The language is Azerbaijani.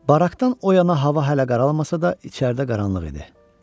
Barakdan o yana hava hələ qaralmasa da, içəridə qaranlıq idi.